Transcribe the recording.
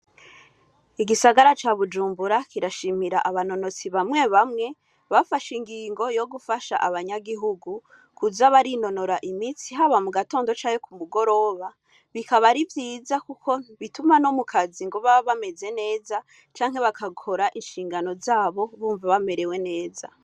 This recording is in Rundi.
Igisagara ca Bujumbura kirashimira abanonotsi bamwe bamwe, bafashe ingingo yo gufasha abanyagihugu kuza barinonora imitsi, haba mu gatondo canke ku mugoroba. Bikaba ari vyiza kuko bituma no mu kazi ngo baba bameze neza canke bagakora inshingano zabo bumva bamerewe neza.